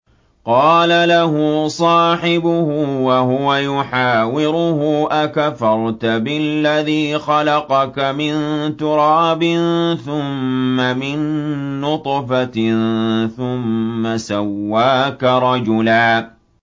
قَالَ لَهُ صَاحِبُهُ وَهُوَ يُحَاوِرُهُ أَكَفَرْتَ بِالَّذِي خَلَقَكَ مِن تُرَابٍ ثُمَّ مِن نُّطْفَةٍ ثُمَّ سَوَّاكَ رَجُلًا